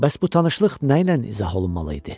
Bəs bu tanışlıq nə ilə izah olunmalı idi?